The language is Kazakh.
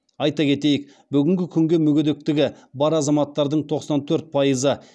айта кетейік бүгінгі күнге мүгедектігі бар азаматтардың тоқсан төрт пайызы